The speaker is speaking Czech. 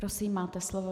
Prosím, máte slovo.